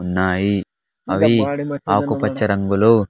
ఉన్నాయి అవి ఆకు పచ్చ రంగులో.